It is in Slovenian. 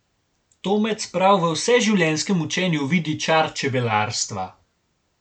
Tomec prav v vseživljenjskem učenju vidi čar čebelarstva.